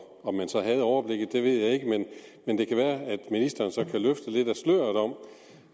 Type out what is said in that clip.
om man så havde overblikket ved jeg ikke men det kan være at ministeren så